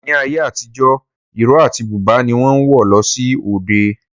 Ní ayé àtijọ́, ìró àti búbà ni wọ́n ń wọ̀ lọ sí òde